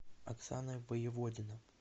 оксана воеводина